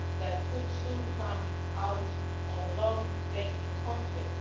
which could soon come out of a long painful conflict